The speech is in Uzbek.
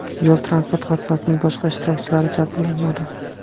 Yo‘l-transport hodisasining boshqa ishtirokchilari jabrlanmadi.